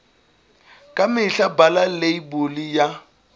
ka mehla bala leibole ya